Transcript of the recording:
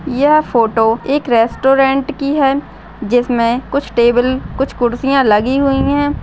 यह फोटो एक रेस्टोरन्ट कि है जिसमे कुछ टेबले कुछ कुर्सियाँ लगी हुई है।